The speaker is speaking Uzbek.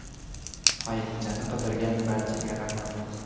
Ayiqchani qidirgan barchaga rahmat.